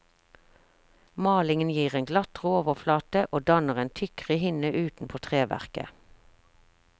Malingen gir en glattere overflate og danner en tykkere hinne utenpå treverket.